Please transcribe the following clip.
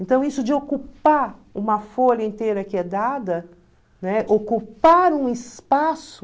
Então, isso de ocupar uma folha inteira que é dada, né, ocupar um espaço...